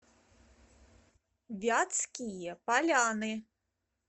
вятские поляны